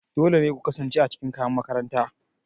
Dole ne ku kasance a cikin kayan makaranta.